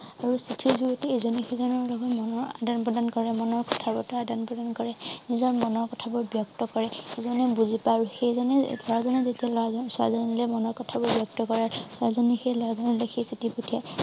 আৰু চিঠিৰ যুগতেই এইজনে সিজনৰ লগত মনৰ আদান প্ৰদান কৰে মনৰ কথাবৰ্তা আদান প্ৰদান কৰে নিজৰ মনৰ কথাবোৰ বিয়ক্ত কৰে ইজনে বুজি পায় আৰু সেইজনে লৰাজনে লৰাজন ছোৱালী জনীলে মনৰ কথাবোৰ বিয়ক্ত কৰে ছোৱালী জনী সেই লৰা জনলে লিখি চিঠি পঠিয়াই